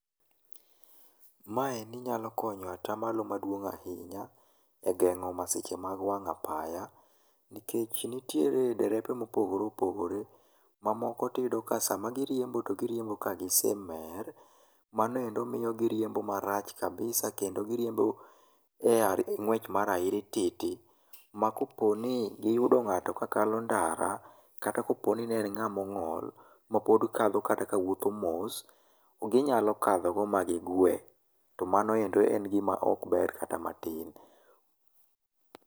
Maendi nyalo konyo atamalo maduong ahinya e geng'o masiche mag wang apaya nikech nitie derepe ma opogore opogore mamoko to iyudo ni sama giriembo giriembo ka gisemer manoendo miyo giriembo marach kabisa kendo giriembo e ngwech mar airititi ma koponi giyudo ngato ka kalo ndara kata kaponi ne en nga mongol, mapod kadho kata ka wuotho mos, to ginyalo kadhogo ma gigwe to mano ok en gima ber kata matin